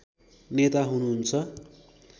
नेता हुनुहुन्छ